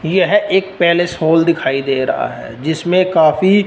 यह एक palace hall दिखाई दे रहा है जिसमें काफी--